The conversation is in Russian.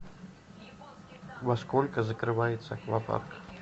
во сколько закрывается аквапарк